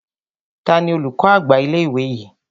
Tani olùkọ́ àgbà ilé ìwé yìí?